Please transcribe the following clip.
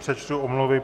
Přečtu omluvy.